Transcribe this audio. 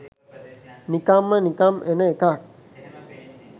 නිකම්ම නිකම් එන එකක්.